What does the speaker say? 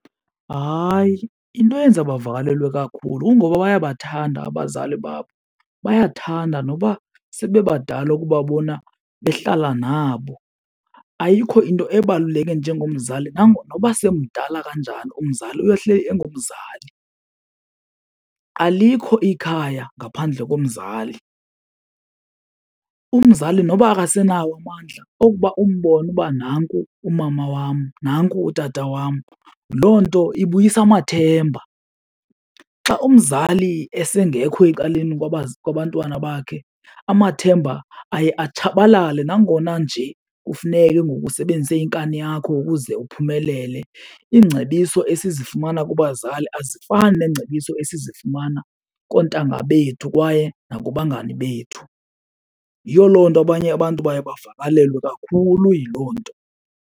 Hayi, into eyenza bavakalelwe kakhulu kungoba bayabathanda abazali babo, bayathanda noba sebebadala ukubabona behlala nabo. Ayikho into ebaluleke njengomzali noba semdala kanjani umzali uyohleli engumzali. Alikho ikhaya ngaphandle komzali, umzali noba akasenawo amandla, okuba umbone uba nanku umama wam nanku utata wam loo nto ibuyisa amathemba. Xa umzali esengekho ecaleni kwabantwana bakhe amathemba aye atshabalale nangona nje kufuneke ke ngoku usebenzise inkani yakho ukuze uphumelele. Iingcebiso esizifumana kubazali azifani neengcebiso esizifumana koontanga bethu kwaye nakubangani bethu. Yiyo loo nto abanye abantu baye bavakalelwe kakhulu yiloo nto.